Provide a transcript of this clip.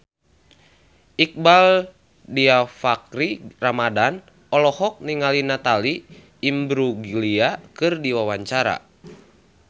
Iqbaal Dhiafakhri Ramadhan olohok ningali Natalie Imbruglia keur diwawancara